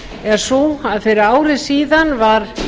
er sú að fyrir ári síðan var